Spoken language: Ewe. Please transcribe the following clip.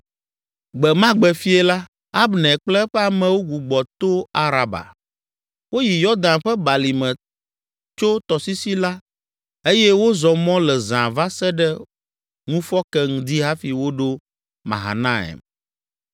Gbe ma gbe fiẽ la, Abner kple eƒe amewo gbugbɔ to Araba. Woyi Yɔdan ƒe balime, tso tɔsisi la eye wozɔ mɔ le zã va se ɖe ŋufɔke ŋdi hafi woɖo Mahanaim.